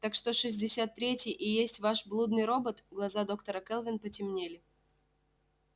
так что шестьдесят третий и есть ваш блудный робот глаза доктора кэлвин потемнели